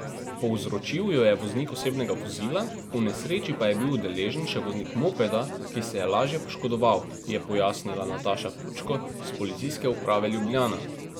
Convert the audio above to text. Povzročil jo je voznik osebnega vozila, v nesreči pa je bil udeležen še voznik mopeda, ki se je lažje poškodoval, je pojasnila Nataša Pučko s Policijske uprave Ljubljana.